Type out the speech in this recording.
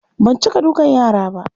Ban cika dukan yara ba.